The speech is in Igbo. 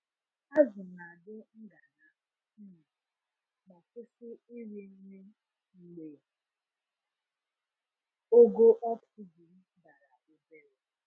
Azụ na-adị ngana um ma kwụsị iri nri mgbe ogo oxygen dara obere.